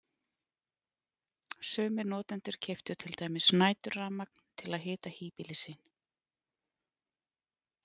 Sumir notendur keyptu til dæmis næturrafmagn til að hita híbýli sín.